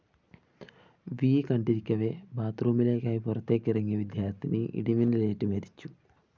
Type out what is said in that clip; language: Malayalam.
വി കണ്ടിരിക്കവേ ബാത്ത്‌ റൂമിലേക്കായി പുറത്തേക്കിറങ്ങിയ വിദ്യാര്‍ത്ഥിനി ഇടിമിന്നലേറ്റു മരിച്ചു